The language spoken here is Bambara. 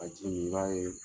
ji min i b'a ye